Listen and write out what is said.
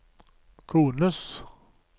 kones